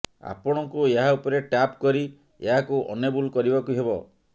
ଆପଣଙ୍କୁ ଏହା ଉପରେ ଟାପ୍ କରି ଏହାକୁ ଏନେବଲ୍ କରିବାକୁ ହେବ